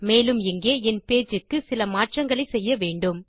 மேலும் இங்கே என் பேஜ் க்கு சில மாற்றங்களை செய்ய வேண்டும்